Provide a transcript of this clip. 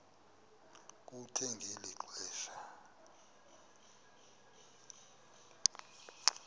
kuthe ngeli xesha